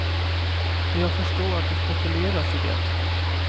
Jag förstår att det spekuleras i det.